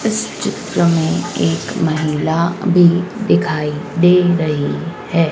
इस चित्र में एक महिला भी दिखाई दे रही है।